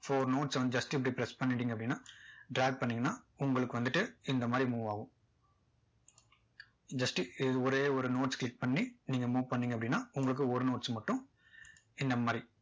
four notes வந்து just இப்படி press பண்ணிட்டீங்க அப்படின்னா drag பண்ணிங்கன்னா உங்களுக்கு வந்துட்டு இந்த மாதிரி move ஆகும் just ஒரே ஒரு notes click பண்ணி நீங்க move பண்ணிங்க அப்படின்னா உங்களுக்கு ஒரு notes மட்டும் இந்த மாதிரி